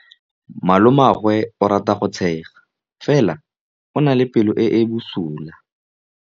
Malomagwe o rata go tshega fela o na le pelo e e bosula.